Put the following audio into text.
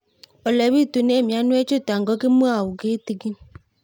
Ole pitune mionwek chutok ko kimwau kitig'ín